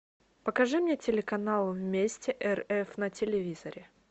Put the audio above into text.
покажи мне телеканал вместе рф на телевизоре